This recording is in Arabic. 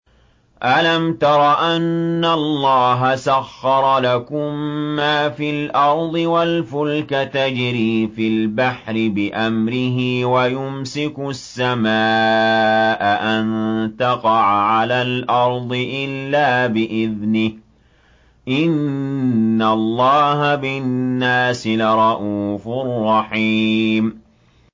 أَلَمْ تَرَ أَنَّ اللَّهَ سَخَّرَ لَكُم مَّا فِي الْأَرْضِ وَالْفُلْكَ تَجْرِي فِي الْبَحْرِ بِأَمْرِهِ وَيُمْسِكُ السَّمَاءَ أَن تَقَعَ عَلَى الْأَرْضِ إِلَّا بِإِذْنِهِ ۗ إِنَّ اللَّهَ بِالنَّاسِ لَرَءُوفٌ رَّحِيمٌ